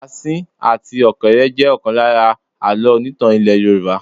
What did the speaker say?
Asín àti ọ̀kéré jẹ ọ̀kan lára àlọ́ onítàn ilẹ́ Yorùbá.